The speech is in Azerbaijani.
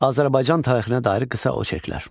Azərbaycan tarixinə dair qısa oçerklər.